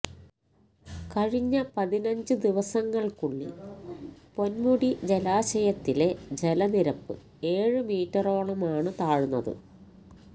കഴിഞ്ഞ പതിനഞ്ചു ദിവസങ്ങൾക്കുള്ളിൽ പൊൻമുടി ജലാശയത്തിലെ ജലനിരപ്പ് ഏഴ് മീറ്ററോളമാണ് താഴ്ന്നത്